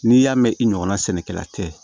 N'i y'a mɛn i ɲɔgɔnna sɛnɛkɛla tɛ